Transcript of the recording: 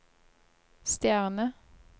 stjerne